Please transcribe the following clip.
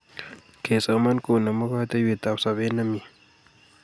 Kesoman konemu kateiywotap sopet nemie